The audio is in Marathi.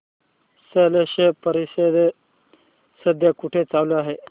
स्लश परिषद सध्या कुठे चालू आहे